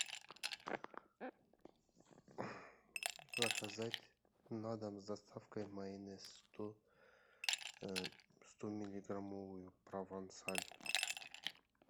заказать на дом с доставкой майонез сто миллиграммовую провансаль